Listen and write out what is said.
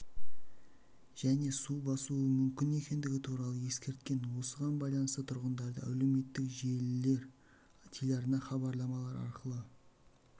және су басуы мүмкін екендігі туралы ескерткен осыған байланысты тұрғындарды әлеуметтік желілер телеарна хабарламалар арқылы